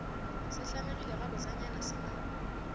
se hlamegile gabotsenyana se na